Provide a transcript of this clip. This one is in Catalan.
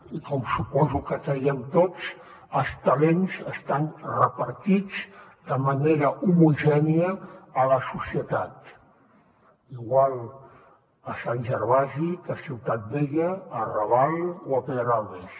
i com suposo que creiem tots els talents estan repartits de manera homogènia a la societat igual a sant gervasi que a ciutat vella al raval o a pedralbes